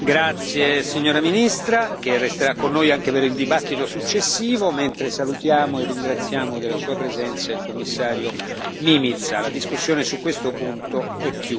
Ringraziamo la signora Ministra, che resterà con noi anche per la discussione successiva, mentre salutiamo e ringraziamo della sua presenza il Commissario Mimica.